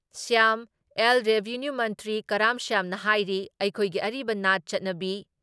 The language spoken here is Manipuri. ꯁ꯭ꯌꯥꯝ ꯑꯦꯜ ꯔꯦꯚꯤꯅ꯭ꯌꯨ ꯃꯟꯇ꯭ꯔꯤ ꯀꯔꯥꯝ ꯁ꯭ꯌꯥꯝꯅ ꯍꯥꯏꯔꯤ ꯑꯩꯈꯣꯏꯒꯤ ꯑꯔꯤꯕ ꯅꯥꯠ ꯆꯠꯅꯕꯤ